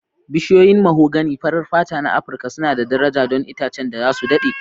Bishiyoyin mahogany farar fata na Afirka suna da daraja don itacen da za su daɗe.